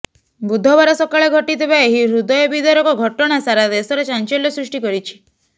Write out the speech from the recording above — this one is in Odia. ବୁଧବାର ସକାଳେ ଘଟିଥିବା ଏହି ହୃଦୟ ବିଦାରକ ଘଟଣା ସାରା ଦେଶରେ ଚାଞ୍ଚଲ୍ୟ ସୃଷ୍ଟି କରିଛି